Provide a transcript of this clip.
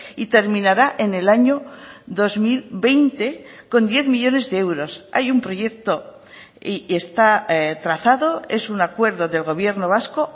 y terminará en el año dos mil veinte con diez millónes de euros hay un proyecto y está trazado es un acuerdo del gobierno vasco